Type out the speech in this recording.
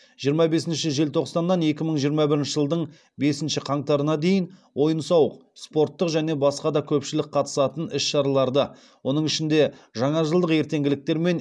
жиырма бесінші желтоқсаннан екі мың жиырма бірінші жылдың бесінші қаңтарына дейін ойын сауық спорттық және басқа да көпшілік қатысатын іс шараларды оның ішінде жаңажылдық ертеңгіліктер мен